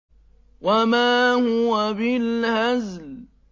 وَمَا هُوَ بِالْهَزْلِ